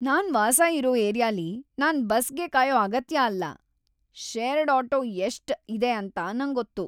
ನಾನ್ ವಾಸ ಇರೋ ಏರಿಯಾಲಿ ನಾನ್ ಬಸ್ಗೆ ಕಾಯೋ ಅಗತ್ಯ ಅಲ್ಲ. ಶೇರ್ಡ್ ಆಟೋ ಎಷ್ಟ್ ಇದೆ ಅಂತ ನಂಗ್ ಗೊತ್ತು.